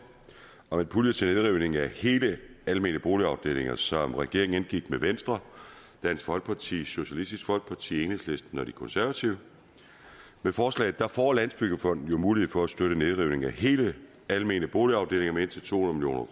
om en pulje til nedrivning af hele almene boligafdelinger som regeringen indgik med venstre dansk folkeparti socialistisk folkeparti enhedslisten og de konservative med forslaget får landsbyggefonden jo mulighed for at støtte nedrivning af hele almene boligafdelinger med indtil to hundrede